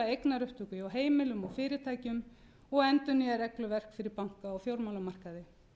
eignaupptöku hjá heimilum og fyrirtækjum og endurnýja regluverk fyrir banka og fjármálamarkaði